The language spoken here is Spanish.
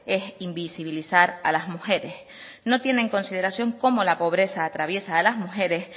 es invisibilizar a las mujeres no tiene en consideración cómo la pobreza atraviesa a las mujeres